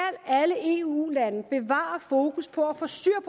alle eu lande bevare fokus på at få styr